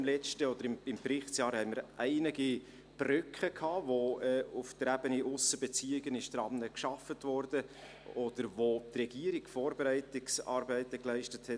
Im Berichtsjahr hatten wir doch einige Brocken, an welchen auf der Ebene Aussenbeziehungen gearbeitet wurde, oder für welche die Regierung die Vorbereitungsarbeiten leistete.